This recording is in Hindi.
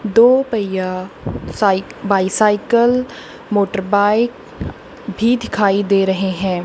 दो पहिया साइ बाइसाइकल मोटर बाइक भी दिखाई दे रहे हैं।